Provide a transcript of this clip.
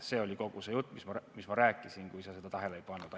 See oli kogu see jutt, mis ma rääkisin, kui sa tähele ei pannud.